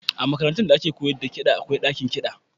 A makarantun da ake koyar da kiɗa akwai ɗakin kiɗa.